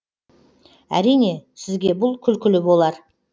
әрине сізге бұл күлкілі болар